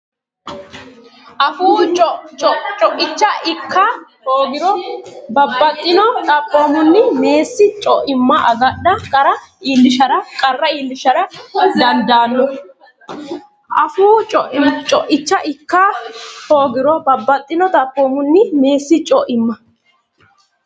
Afuu co icha ikka hoogiro babbaxxino Xaphoomunni meessi co imma agadha qarra iillishara dandaanno Afuu co icha ikka hoogiro babbaxxino Xaphoomunni meessi co imma.